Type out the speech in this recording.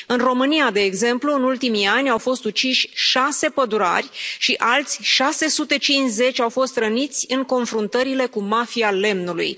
În România, de exemplu, în ultimii ani au fost uciși șase pădurari și alți 650 au fost răniți în confruntările cu mafia lemnului.